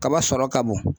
Kaba sɔrɔ ka bon